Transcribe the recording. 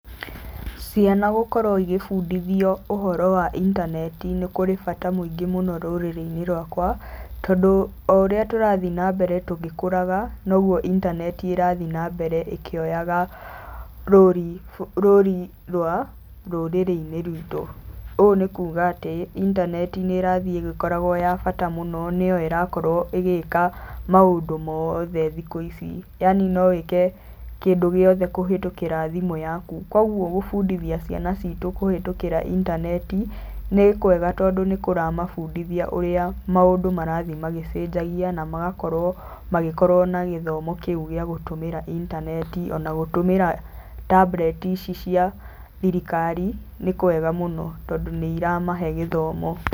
Ciana gũkorwo igĩbundithio ũhoro wa intaneti nĩ kũrĩ bata mũingĩ mũno rũrĩrĩ-inĩ rwakwa, tondũ o ũrĩa tũrathi nambere tũgĩkũraga, noguo intaneti ĩrathi nambere ĩkĩoyaga rũri rwa rũrĩrĩ-inĩ rwitũ. Ũũ nĩ kuga atĩ intaneti nĩ ĩrathiĩ ĩgĩkoragwo ya bata mũno, nĩyo ĩrakorwo ĩgĩka maũndũ moothe thikũ ici, yani no wĩke kĩndũ gĩothe kũhĩtũkĩra thimũ yaku. Koguo gũbundithia ciana citũ kũhĩtũkĩra intaneti nĩ kwega tondũ nĩ kũramabundithia ũrĩa maũndũ marathi magĩcenjagia na magakorwo magĩkorwo na gĩthomo kĩu gĩa gũtũmĩra intaneti. Ona gũtũmĩra tablet ici cia thirikari nĩ kwega mũno tondũ nĩ iramahe gĩthomo.